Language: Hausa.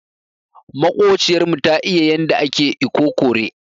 Makociyar mu ta iya yanda ake ikokore.